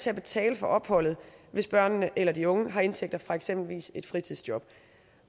til at betale for opholdet hvis børnene eller de unge har indtægter fra eksempelvis et fritidsjob